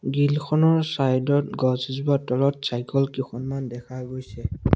Grill খনৰ side ত গছ এজোপাৰ তলত চাইকল কিখনমান দেখা গৈছে।